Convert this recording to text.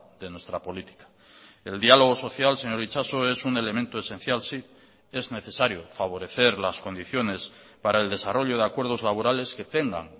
de nuestra política el diálogo social señor itxaso es un elemento esencial sí es necesario favorecer las condiciones para el desarrollo de acuerdos laborales que tengan